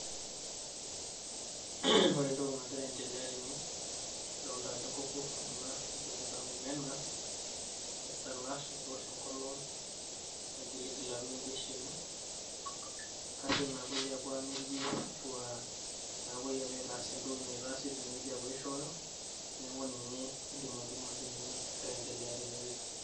Ore entoki nagira aendelea tene, adolta ajo nkoko ena naibung'ita omena, aisalaash metoosho enkolong, negiligil apik ibesheni, kajo napoi apuo amirie ashua napoi apuo aitaas entoki naitaasi tinewueji apuo aishooyo, neeku ninye aidim atolimu ajo ninye nagira aiendelea tinewueji.